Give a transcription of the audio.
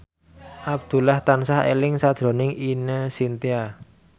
Abdullah tansah eling sakjroning Ine Shintya